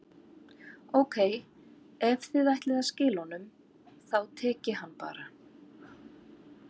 Ókei, ef þið ætlið að skila honum, þá tek ég hann bara.